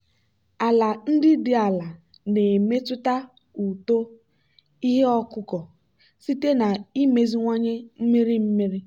ala ndị dị ala na-emetụta uto ihe ọkụkụ site na imeziwanye mmiri mmiri.